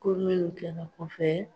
Ko minnu kɛra kɔfɛ